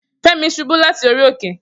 Femi subu lati ori oke.